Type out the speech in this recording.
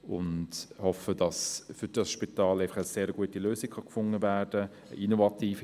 Wir hoffen, dass eine sehr gute Lösung für das Spital gefunden werden kann.